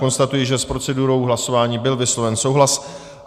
Konstatuji, že s procedurou hlasování byl vysloven souhlas.